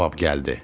Cavab gəldi.